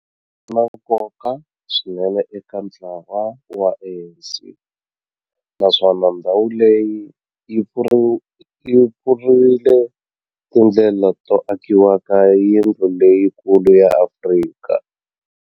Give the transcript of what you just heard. Ri na nkoka swinene eka ntlawa wa ANC, naswona ndhawu leyi yi pfurile tindlela to akiwa ka yindlu leyikulu ya Afrika.